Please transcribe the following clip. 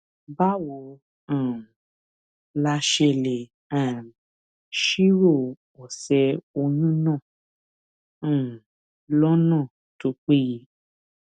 báwo um la ṣe lè um ṣírò òsè oyún náà um lónà tó péye